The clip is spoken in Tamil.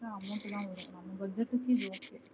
amount தா வரும். நம்ம budget க்கு இது ஒகே